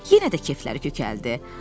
Yenə də kefləri kök gəldi.